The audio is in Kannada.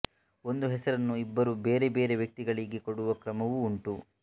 ಒಂದೇ ಹೆಸರನ್ನು ಇಬ್ಬರು ಬೇರೆ ಬೇರೆ ವ್ಯಕ್ತಿಗಳಿಗೆ ಕೊಡುವ ಕ್ರಮವೂ ಉಂಟು